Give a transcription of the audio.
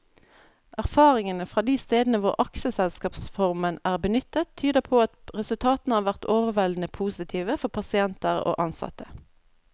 Erfaringene fra de stedene hvor aksjeselskapsformen er benyttet, tyder på at resultatene har vært overveldende positive for pasienter og ansatte.